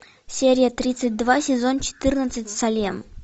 серия тридцать два сезон четырнадцать салем